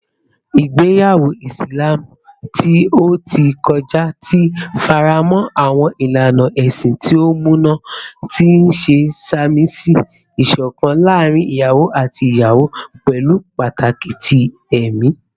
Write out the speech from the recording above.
Igbeyawo Islam ti o ti kọja ti faramọ awọn ilana ẹsin ti o muna, ti n samisi iṣọkan laarin iyawo ati iyawo pẹlu pataki ti ẹmi.